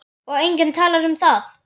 Og enginn talar um það!